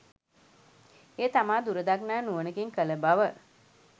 එය තමා දුරදක්නා නුවණකින් කළ බව